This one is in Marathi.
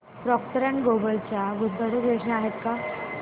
प्रॉक्टर अँड गॅम्बल च्या गुंतवणूक योजना आहेत का